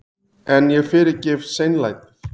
En ég fyrirgef seinlætið.